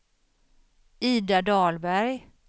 Ida Dahlberg